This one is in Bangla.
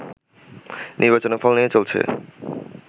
নির্বাচনের ফল নিয়ে চলছে